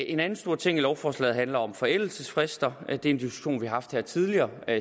en anden stor ting i lovforslaget handler om forældelsesfrister det er en diskussion vi har haft her tidligere